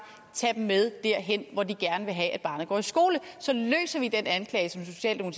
tage dem med derhen hvor de gerne vil have barnet går i skole så løser vi det anklage